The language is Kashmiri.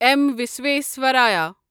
اٮ۪م وسویسوارایا